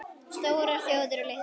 STÓRAR ÞJÓÐIR OG LITLAR ÞJÓÐIR